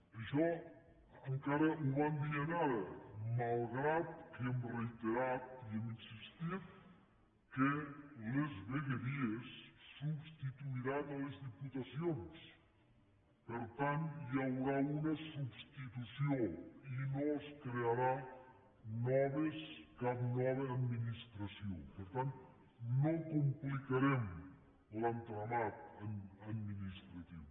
i això encara ho van dient ara malgrat que hem reiterat i hem insistit que les vegueries substituiran les diputacions per tant hi haurà una substitució i no es crearà cap nova administració per tant no complicarem l’entramat administratiu